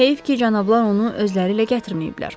Heyif ki, cənablar onu özləri ilə gətirməyiblər.